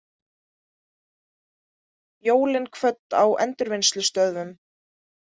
Jólin kvödd á endurvinnslustöðvunum